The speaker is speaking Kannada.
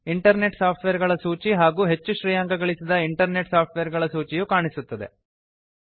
ಇಂಟರ್ನೆಟ್ ಸಾಫ್ಟ್ವೇರ್ ಗಳ ಸೂಚಿ ಹಾಗೂ ಹೆಚ್ಚು ಶ್ರೇಯಾಂಕ ಗಳಿಸಿದ ಇಂಟರ್ನೆಟ್ ಸಾಫ್ಟ್ವೇರ್ ಗಳ ಸೂಚಿಯು ಕಾಣಿಸುತ್ತದೆ